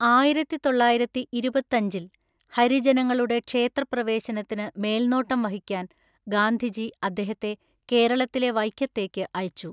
ആയിരത്തിതൊള്ളായിരത്തിഇരുപത്തഞ്ചില്‍, ഹരിജനങ്ങളുടെ ക്ഷേത്രപ്രവേശനത്തിന് മേൽനോട്ടം വഹിക്കാൻ ഗാന്ധിജി അദ്ദേഹത്തെ കേരളത്തിലെ വൈക്കത്തേക്ക് അയച്ചു.